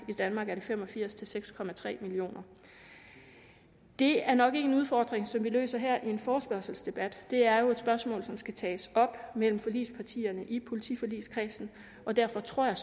i danmark er det fem og firs til seks millioner det er nok ikke en udfordring som vi løser her i en forespørgselsdebat det er jo et spørgsmål som skal tages op mellem forligspartierne i politiforligskredsen og derfor tror jeg